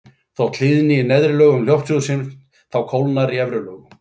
Þótt hlýni í neðri lögum lofthjúpsins þá kólnar í efri lögunum.